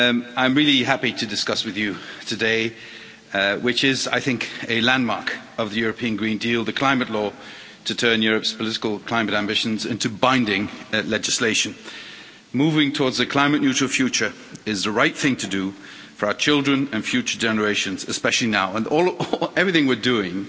I'm really happy to discuss with you today what is I think a landmark of the European Green Deal, the climate law to turn Europe's political climate ambitions into binding legislation. Moving towards a climate neutral future is the right thing to do for our children and future generations especially now, and everything we're doing